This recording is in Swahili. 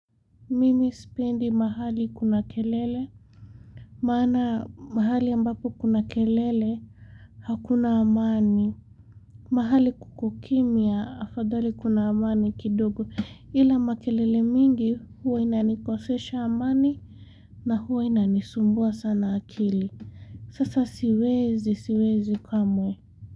Mimi sipendi mahali kuna kelele Maana mahali ambapo kuna kelele Hakuna amani mahali kuko kimya afadhali kuna amani kidogo ila makelele mingi huwa inanikosesha amani na huwa inanisumbua sana akili sasa siwezi siwezi kamwe.